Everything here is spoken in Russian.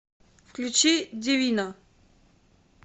включи дивино